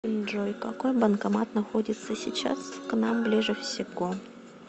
джой какой банкомат находится сейчас к нам ближе всего